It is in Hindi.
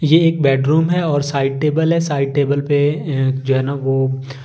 ये एक बेडरूम है और साइड टेबल है साइड टेबल पे अं जो है न वो--